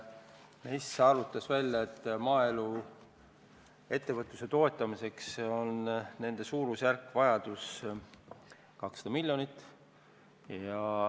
MES arvutas välja, et maaelu ettevõtluse toetamiseks on neil vaja umbes 200 miljonit.